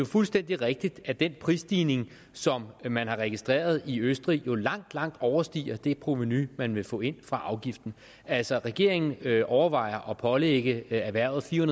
fuldstændig rigtigt at den prisstigning som man har registreret i østrig jo langt langt overstiger det provenu man vil få ind fra afgiften altså regeringen overvejer at pålægge erhvervet fire